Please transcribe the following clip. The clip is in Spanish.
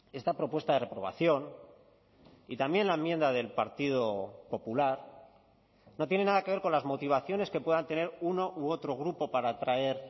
esta propuesta de reprobación y también la enmienda del partido popular no tiene nada que ver con las motivaciones que puedan tener uno u otro grupo para traer